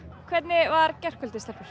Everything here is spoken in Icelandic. hvernig var gærkvöldið stelpur